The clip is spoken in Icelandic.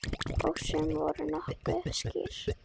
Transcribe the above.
Og sum voru nokkuð skýr.